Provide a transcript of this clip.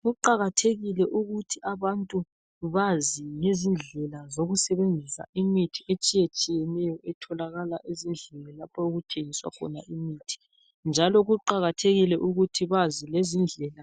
Kuqakathekile ukuthi abantu bazi ngezindlela zokusebenzisa imithi etshiye tshiyeneyo etholakala ezindlini lapho okuthengiswa khona imithi, njalo kuqakathekile ukuthi bazi lezindlela